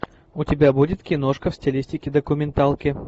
у тебя будет киношка в стилистике документалки